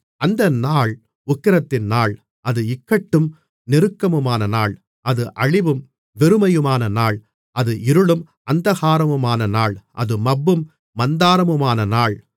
அந்த நாள் உக்கிரத்தின் நாள் அது இக்கட்டும் நெருக்கமுமான நாள் அது அழிவும் வெறுமையுமான நாள் அது இருளும் அந்தகாரமுமான நாள் அது மப்பும் மந்தாரமுமான நாள்